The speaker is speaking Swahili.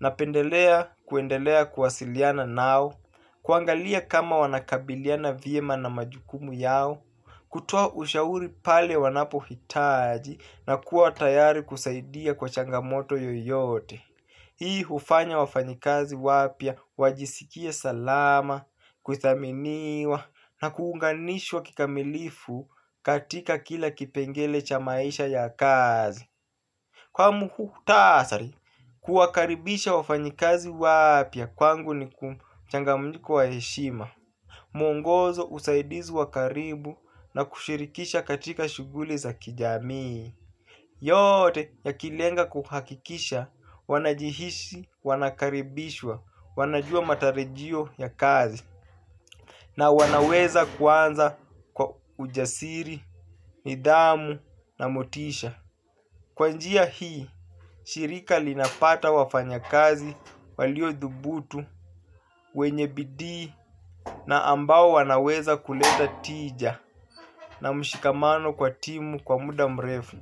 napendelea kuendelea kuwasiliana nao, kuangalia kama wanakabiliana vyema na majukumu yao, kutoa ushauri pale wanapohitaji na kuwa tayari kusaidia kwa changamoto yoyote. Hii hufanya wafanyakazi wapya, wajisikie salama, kuthaminiwa na kuunganishwa kikamilifu katika kila kipengele cha maisha ya kazi. Kwa muhtasari, kuwakaribisha wafanyakazi wapya kwangu ni kumchanganyiko wa heshima. Mwongozo usaidizi wakaribu na kushirikisha katika shughuli za kijami. Yote yakilenga kuhakikisha wanajihisi wanakaribishwa wanajua matarajio ya kazi na wanaweza kuanza kwa ujasiri, nidhamu na motisha. Kwa njia hii shirika linapata wafanyakazi waliothubutu, wenye bidii na ambao wanaweza kuleta tija na mshikamano kwa timu kwa muda mrefu.